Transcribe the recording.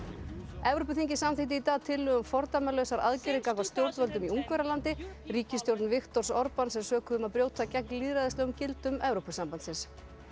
Evrópuþingið samþykkti í dag tillögu um fordæmalausar aðgerðir gagnvart stjórnvöldum í Ungverjalandi ríkisstjórn Viktors Orbans er sökuð um að brjóta gegn lýðræðislegum gildum Evrópusambandsins